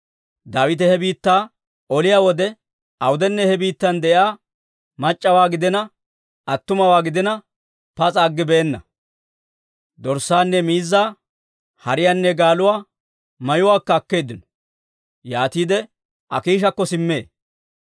Daawite he biittaa oliyaa wode awudenne he biittan de'iyaa mac'c'awaa gidiina, attumawaa gidiina, pas'a aggibeenna; dorssaanne miizzaa, hariyaanne gaaluwaa, mayuwaakka akkeedda; yaatiide Akiishakko simmee.